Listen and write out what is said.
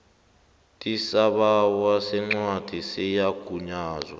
tisibawo sencwadi yesigunyazo